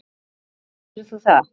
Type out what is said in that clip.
af hverju gerðir þú það?